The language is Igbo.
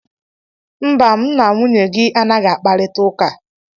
mba, m na nwunye gị anaghị akparịta ụka